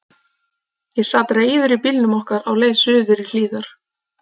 Ég sat reiður í bílnum okkar á leið suður í Hlíðar.